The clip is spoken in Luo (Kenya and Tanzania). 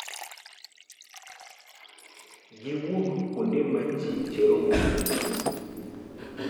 Giwuok kuonde ma ji cherogo liet.